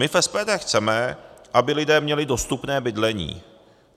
My v SPD chceme, aby lidé měli dostupné bydlení.